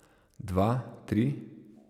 Dva, tri?